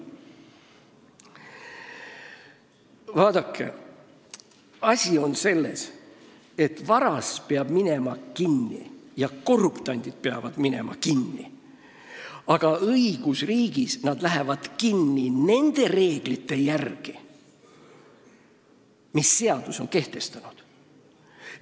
Vaadake, asi on selles, et vargad ja korruptandid peavad kinni minema, aga õigusriigis lähevad nad kinni nende reeglite järgi, mille seadus on kehtestanud.